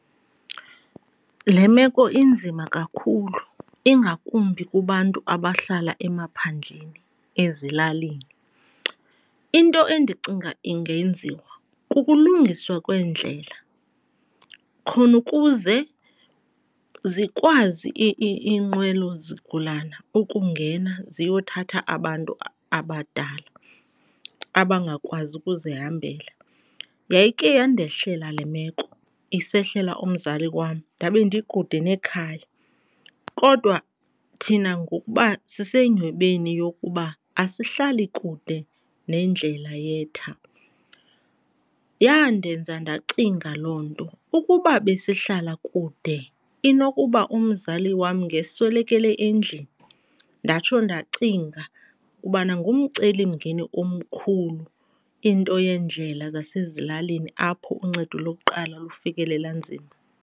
Le meko inzima kakhulu ingakumbi kubantu abahlala emaphandleni, ezilalini. Into endicinga ingenziwa kukulungiswa kwendlela khona ukuze zikwazi iinqwelozigulana ukungena ziyothatha abantu abadala abangakwazi ukuzihambela. Yayikhe yandehlela le meko, isehlela umzali wam ndabe ndikude nekhaya. Kodwa thina ngokuba sisenyhwebeni yokuba asihlali kude nendlela yetha, yandenza ndacinga loo nto, ukuba besihlala kude inokuba umzali wam ngeswelekele endlini. Ndatsho ndacinga ukubana ngumcelimngeni omkhulu into yeendlela zasezilalini apho uncedo lokuqala lufikelela nzima.